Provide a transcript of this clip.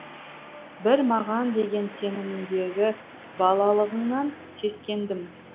бір маған деген сеніміңдегі балалығыңнан сескендім